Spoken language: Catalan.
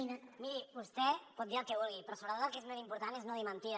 miri vostè pot dir el que vulgui però sobretot el que és més important és no dir mentides